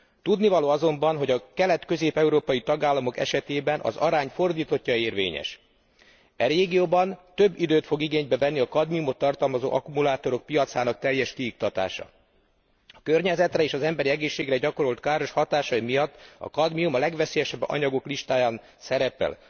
Tudnivaló azonban, hogy a kelet közép európai tagállamok esetében az arány fordítottja érvényes. E régióban több időt fog igénybe venni a kadmiumot tartalmazó akkumulátorok piacának teljes kiiktatása. A környezetre és az emberi egészségre gyakorolt káros hatásai miatt a kadmium a legveszélyesebb anyagok listáján szerepel.